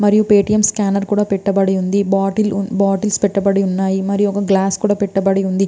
మరియు Paytm scanner కూడా పెట్టబడి ఉంది బాటిల్స్ పెట్టబడి ఉంది మరియు గ్లాస్ కూడా పెట్టబడి ఉంది .